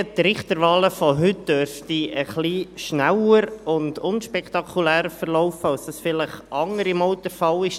Die Richterwahlen von heute dürften ein wenig schneller und unspektakulärer verlaufen, als das vielleicht andere Male der Fall ist.